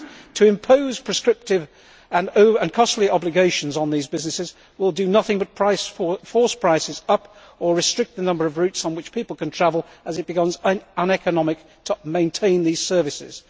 To impose prescriptive and costly obligations on these businesses will do nothing but force prices up or restrict the number of routes on which people can travel as it becomes uneconomic to maintain these services.